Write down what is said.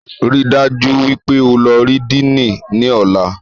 Ríi dájú wípé o lọ rí Díìnì ní ọ̀la